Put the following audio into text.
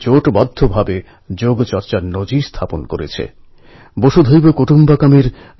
জুলাই হচ্ছে সেই মাস যখন যুবকরা নিজের জীবনের নূতন পথে পদক্ষেপ করে